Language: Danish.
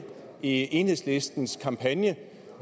i enhedslistens kampagne